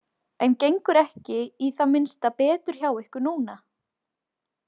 En gengur ekki í það minnsta betur hjá ykkur núna?